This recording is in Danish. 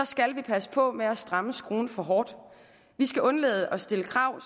skal vi passe på med at stramme skruen for hårdt vi skal undlade at stille krav